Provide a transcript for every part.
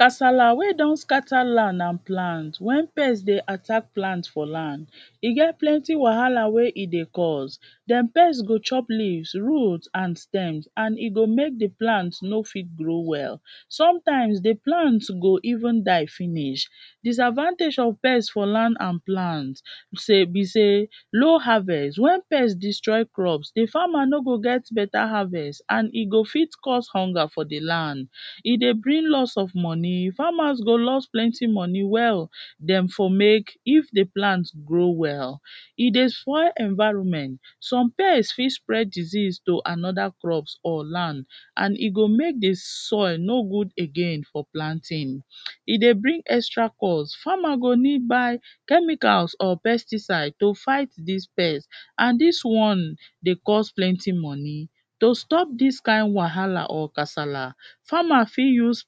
Casala wey done scatter land and plant wen pest dey attack plant for plant, e get plenty wahala wey e dey cos, dem pest go chop leave, wood and stem and e go make di plant no fit grow well, sometimes di plant go even die finish. Disadvantage of pest for land and plant sey be sey low harvest, wen pest destroy crop di farmer no go get better havest and e go fit cause hunger for di land, e dey bring loss of money, farmers go loss plenty money wey dem for make if di plant grow well, e dey spoil environment some pest fit spray disease to anoda crop or land and e go make and e go make di soil no good again for planting, e dey bring extra cost, farmer go need buy chemical or pesticide to fight dis pest and dis one dey cost plenty money to stop dis kind wahala or casala farmer fit use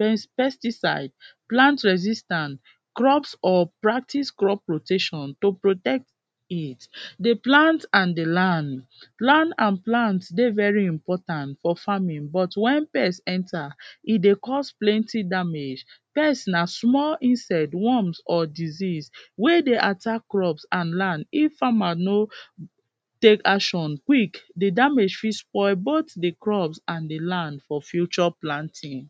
pesticide, plant resistant, crops or practice crop rotation to protect it. Di plant and di land, land and plant dey very important for farming but wen pest for farming but wen pest enter e dey cost plenty damage, pest na small insect, worm or disease wey dey attack crops and land if farmer no take action quick, di damage fit spoil both di crops and di land for future planting.